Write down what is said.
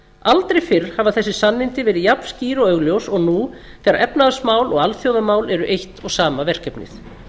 aldrei fyrr hafa þessi sannindi verið jafn skýr og augljós og nú þegar efnahagsmál og alþjóðamál eru eitt og sama verkefnið